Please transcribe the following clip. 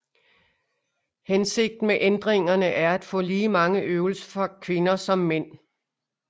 Hensigten med ændringerne er at få lige mange øvelser for kvinder som mænd